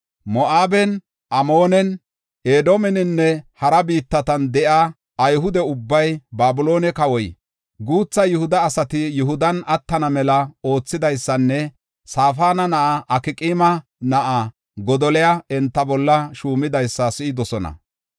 Moo7aben, Amoonen, Edoomeninne hara biittatan de7iya Ayhude ubbay Babiloone kawoy, guutha Yihuda asati Yihudan attana mela oothidaysanne Safaana na7a Akqaama na7a Godoliya enta bolla shuumidaysa si7idosona.